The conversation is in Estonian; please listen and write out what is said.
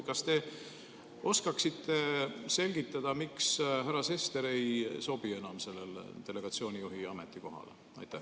Kas te oskate selgitada, miks härra Sester ei sobi enam sellele delegatsiooni juhi ametikohale?